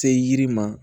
Se yiri ma